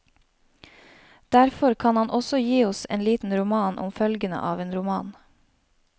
Derfor kan han også gi oss en liten roman om følgene av en roman.